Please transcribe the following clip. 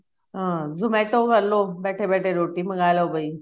ਆ zomato ਕਰ ਲੋ ਬੈਠੇ ਬੈਠੇ ਰੋਟੀ ਮੰਗਾ ਲੋ ਕੋਈ